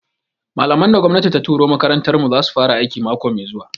Malaman da gwamnati ta turo makarantar mu zasu fara aiki mako mai zuwa